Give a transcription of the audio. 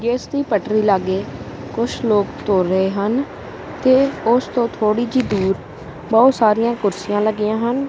ਜੋ ਇਸਦੀ ਪਟਰੀ ਲਾਗੇ ਕੁਛ ਲੋਕ ਤੁਰ ਰਹੇ ਹਨ ਤੇ ਉਸ ਤੋਂ ਥੋੜੀ ਜਿਹੀ ਦੂਰ ਬਹੁਤ ਸਾਰੀਆਂ ਕੁਰਸੀਆਂ ਲੱਗੀਆਂ ਹਨ।